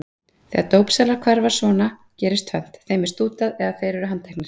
Þegar dópsalar hverfa svona gerist tvennt: Þeim er stútað eða þeir eru handteknir.